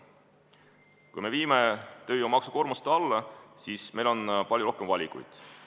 Kui me viime tööjõumaksukoormust alla, siis meil on palju rohkem valikuid.